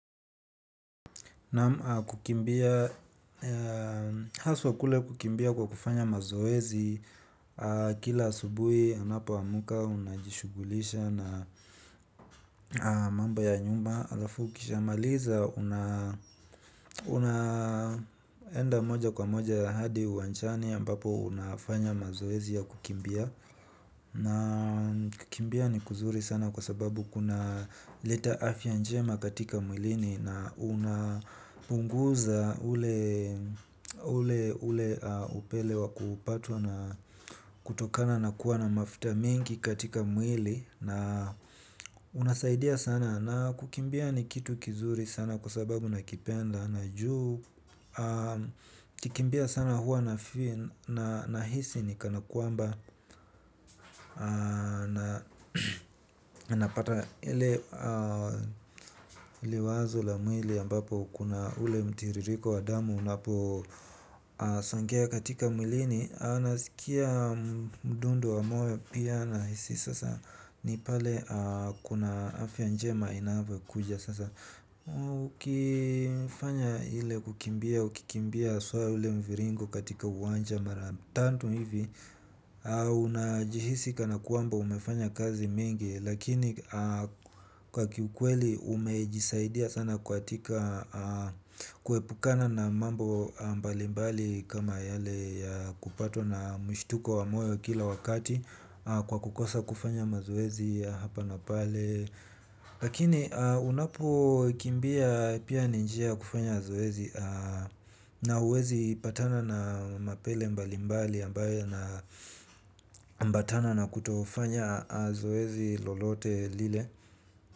Naam kukimbia, haswa kule kukimbia kwa kufanya mazoezi kila subui anapo amuka unajishugulisha na mambo ya nyumba. Alafu ukishamaliza una enda moja kwa moja hadi uwanjani ambapo unafanya mazoezi ya kukimbia kikimbia ni kuzuri sana kwa sababu kuna leta afya njema katika mwilini. Na unapunguza ule ule upele wa kupatwa na kutokana na kuwa na mafita mingi katika mwili. Na unasaidia sana na kukimbia ni kitu kizuri sana kwa sababu na kipenda. Na juu, kikimbia sana huwa nafeel na hisi ni kanakuamba. Na napata ile wazo la mwili ambapo kuna ule mtiririko wa damu unapo songea katika mwilini. Na sikia mdundo wa moyo pia nahisi sasa. Ni pale kuna afianjema inave kuja sasa. Ukifanya hile kukimbia, ukikimbia soa ule mviringo katika uwanja maratantum hivi najihisi kana kwamba unafanya kazi mimgi kuepukana na mambo mbalimbali kama yale ya kupatwa na mshituko wa moyo kila wakati kwa kukosa kufanya mazoezi ya hapa na pale. Lakini unapo kimbia pia ni njia ya kufanya zoezi na uwezi patana na mapele mbali mbali ambaye na mbatana na kutofanya zoezi lolote lile.